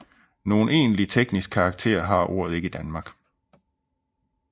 Nogen egentlig teknisk karakter har ordet ikke i Danmark